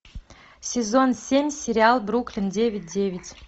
сезон семь сериал бруклин девять девять